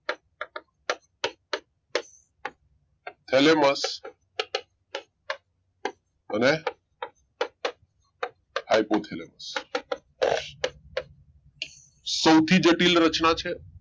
thalamus અને hypothalamus સૌથી જટિલ રચના છે